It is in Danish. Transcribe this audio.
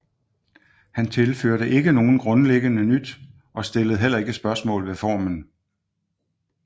Han tilførte ikke nogen grundleggende nyt og stillede heller ikke spørgsmål ved formen